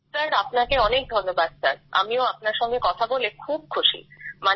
sir আপনাকে ধন্যবাদ sir আমিও আপনার সঙ্গে কথা বলে খুব খুশি